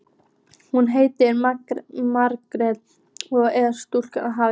Hún heitir Magnea og er sjúkraliði.